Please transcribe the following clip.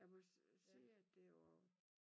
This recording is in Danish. Jeg må sige at det jo og